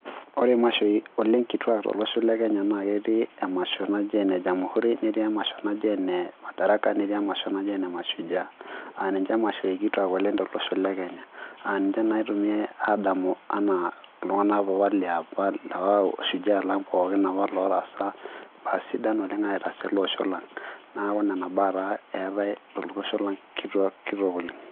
Ore imashoi oleng kituak tolosho le kenya naa ketii emasho naji ene jamhuri netii emasho naji ene madaraka netii emasho naji ene mashujaa aa ninche imashoi kituak oleng tolosho le kenya aa ninche naa itumiai aadamu anaa iltung'anak apa liapa lapa shujaa lang pookin apa lotaasa imbaa sidan oleng aitaas ele osho lang neeku nena baa taa eetay to losho lang kitok oleng.